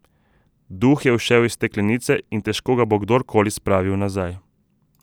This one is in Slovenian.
Duh je ušel iz steklenice in težko ga bo kdorkoli spravil nazaj.